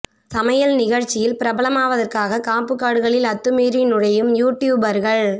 சமையல் நிகழ்ச்சியில் பிரபலமாவதற்காக காப்பு காடுகளில் அத்துமீறி நுழையும் யூ டியூபர்கள்